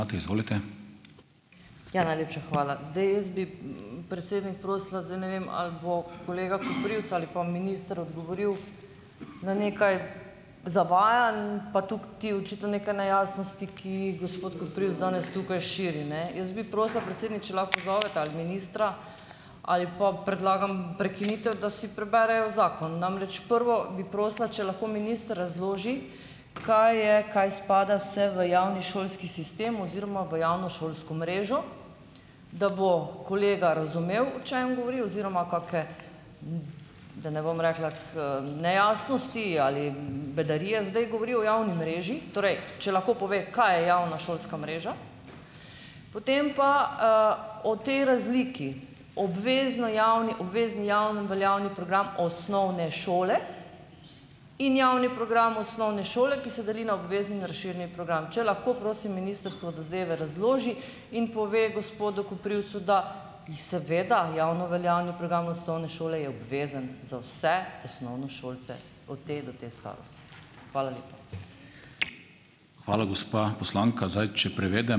Ja, najlepša hvala. Zdaj, jaz bi, predsednik, prosila, zdaj ne vem, ali bo kolega Koprivc ali pa minister odgovoril na nekaj zavajanj pa tukaj očitno nekaj nejasnosti, ki jih gospod Koprivc danes tukaj širi, ne. Jaz bi prosila, predsednik, če lahko pozovete ali ministra ali pa predlagam prekinitev, da si preberejo zakon. Namreč, prvo bi prosila, če lahko minister razloži, kaj je kaj spada vse v javni šolski sistem oziroma v javno šolsko mrežo, da bo kolega razumel, o čem govori oziroma kake, da ne bom rekla, ko nejasnosti ali, bedarije zdaj govori o javni mreži. Torej, če lahko pove, kaj je javna šolska mreža. Potem pa, o tej razliki, obvezno javni obvezni javno veljavni program osnovne šole in javni program osnovne šole, ki se deli na obvezni in razširjeni program. Če lahko, prosim, ministrstvo zadeve razloži in pove gospodu Koprivcu, da, seveda, javno veljavni program osnovne šole je obvezen za vse osnovnošolce od te do te Hvala lepa.